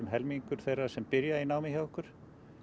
helmingur þeirra sem byrja í námi hjá okkur